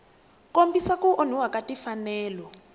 kombisa ku onhiwa ka timfanelo